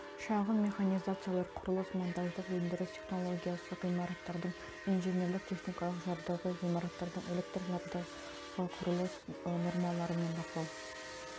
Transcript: шағын механизациялар құрылыс монтаждық өндіріс технологиясы ғимараттардың инженерлік техникалық жабдығы ғимараттардың электр жабдығы құрылыс нормалары мен бақылау